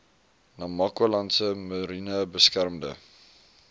namakwalandse mariene beskermde